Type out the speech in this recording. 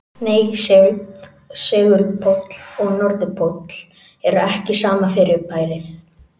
Nei, segulpóll og norðurpóll eru ekki sama fyrirbærið.